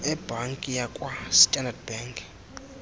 ebhanki yakwa standard